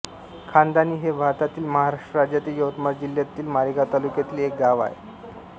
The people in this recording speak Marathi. खाणदाणी हे भारतातील महाराष्ट्र राज्यातील यवतमाळ जिल्ह्यातील मारेगांव तालुक्यातील एक गाव आहे